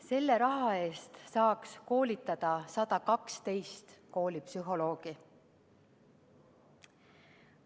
Selle raha eest saaks koolitada 112 koolipsühholoogi.